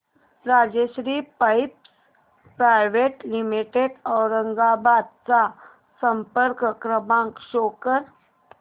Rajshri pipes private limited Aurangabad चा संपर्क क्रमांक शो कर